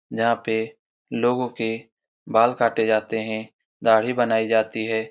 जहां पे लोगो के बाल काटे जाते है दाढ़ी बनाई जाती है।